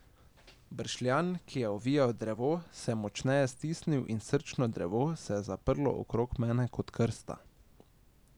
Bršljan, ki je ovijal drevo, se je močneje stisnil in srčno drevo se je zaprlo okrog mene kot krsta.